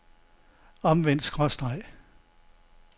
omvendt skråstreg